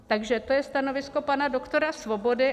Takže to je stanovisko pana doktora Svobody.